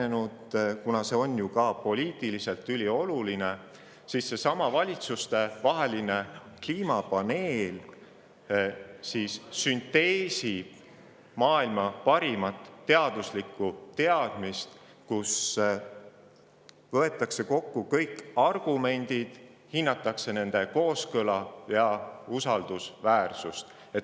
Kuna on ju ka poliitiliselt üliolulised, sünteesib seesama valitsustevaheline kliimapaneel maailma parimat teaduslikku teadmist kliimamuutuste kohta, kus võetakse kokku kõik argumendid ning hinnatakse nende omavahelist kooskõla ja usaldusväärsust.